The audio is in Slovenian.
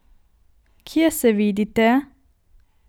Kje se vidite?